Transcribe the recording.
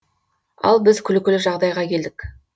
ал біз күлкілі жағдайға келдік